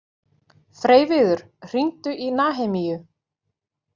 Freyviður, hringdu í Nahemíu.